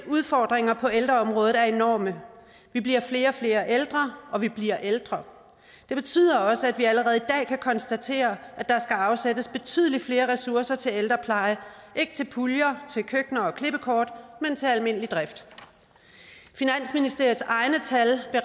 udfordringer på ældreområdet er enorme vi bliver flere og flere ældre og vi bliver ældre det betyder også at vi allerede i dag kan konstatere at der skal afsættes betydelig flere ressourcer til ældrepleje ikke til puljer køkkener og klippekort men til almindelig drift finansministeriets egne tal